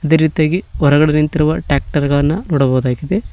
ಅದೇ ರೀತಿಯಾಗಿ ಹೊರಗಡೆ ನಿಂತಿರುವ ಟ್ಯಾಕ್ಟರ್ ಗಳನ್ನ ನೋಡಬಹುದಾಗಿದೆ.